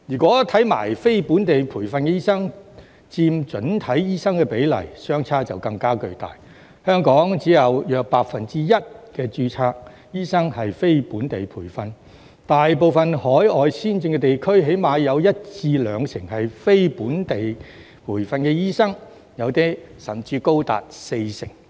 至於非本地培訓醫生佔整體醫生的比例，相差更為巨大，香港只有約 1% 註冊醫生是非本地培訓，大部分海外先進地區的非本地培訓醫生起碼佔一至兩成，部分甚至高達四成。